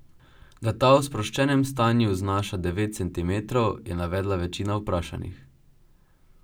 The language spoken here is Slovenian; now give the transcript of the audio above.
Da ta v sproščenem stanju znaša devet centimetrov, je navedla večina vprašanih.